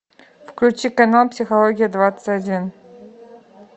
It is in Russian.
включи канал психология двадцать один